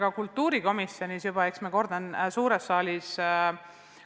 Me kultuurikomisjonis sellest juba rääkisime, eks ma kordan suures saalis üle.